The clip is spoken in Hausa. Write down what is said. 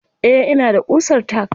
Eh ina da ƙusar tack.